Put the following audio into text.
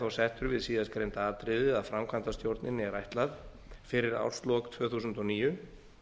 settur við síðastgreinda atriðið að framkvæmdastjórninni er ætlað fyrir árslok tvö þúsund og níu